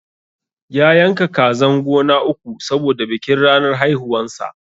ya yanka kazan gona uku saboda bikin ranar haihuwan sa